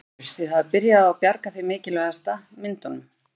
Þórir: Þið hafið byrjað á að bjarga því mikilvægasta, myndunum?